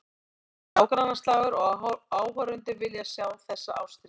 Þetta er nágrannaslagur og áhorfendur vilja sjá þessa ástríðu.